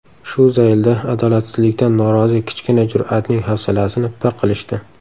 Shu zaylda adolatsizlikdan norozi kichkina jur’atning hafsalasini pir qilishdi.